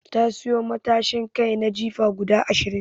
Ta sayi matashin kai na jifa guda Ashirin